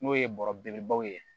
N'o ye bɔrɔ belebelebaw ye